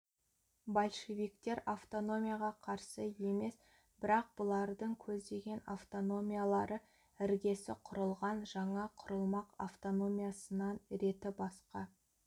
большевиктер автономияға қарсы емес бірақ бұлардың көздеген автономиялары іргесі құрылған жаңа құрылмақ автономиясынан реті басқа